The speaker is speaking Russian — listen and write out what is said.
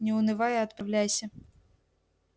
не унывай и отправляйся